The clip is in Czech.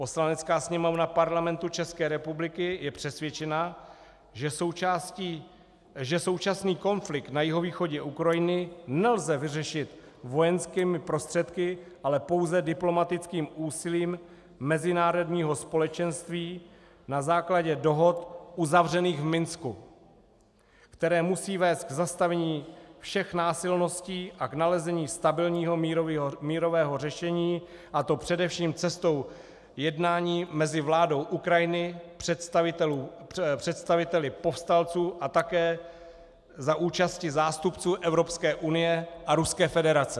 Poslanecká sněmovna Parlamentu České republiky je přesvědčena, že současný konflikt na jihovýchodě Ukrajiny nelze vyřešit vojenskými prostředky, ale pouze diplomatickým úsilím mezinárodního společenství na základě dohod uzavřených v Minsku, které musí vést k zastavení všech násilností a k nalezení stabilního mírového řešení, a to především cestou jednání mezi vládou Ukrajiny, představiteli povstalců a také za účasti zástupců Evropské unie a Ruské federace.